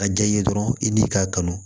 A jɛ ye dɔrɔn i n'i k'a kanu